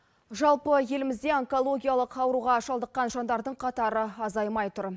жалпы елімізде онкологиялық ауруға шалдыққан жандардың қатары азаймай тұр